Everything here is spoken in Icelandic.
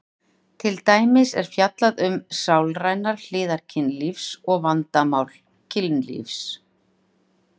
Til dæmis er fjallað um sálrænar hliðar kynlífs og vandamál kynlífs.